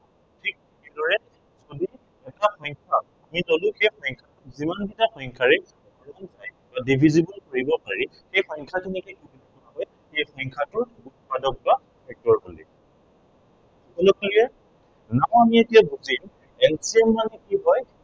যিমান কেইটা সংখ্য়াৰে হৰণ যায় বা divisible কৰিব পাৰি, এই সংখ্য়াখিনিকে কি বুলি কয়, এই সংখ্য়াটোৰ উৎপাদক বা factor বুলি কয়। আমি এতিয়া LCM মানে কি হয়